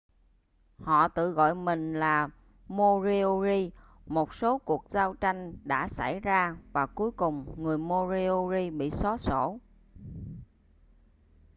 họ tự gọi mình là moriori một số cuộc giao tranh đã xảy ra và cuối cùng người moriori bị xóa sổ